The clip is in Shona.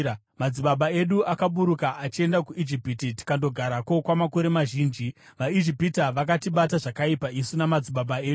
Madzibaba edu akaburuka achienda kuIjipiti, tikandogarako kwamakore mazhinji. VaIjipita vakatibata zvakaipa isu namadzibaba edu,